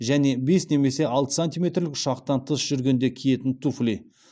және бес немесе алты сантиметрлік ұшақтан тыс жүргенде киетін туфли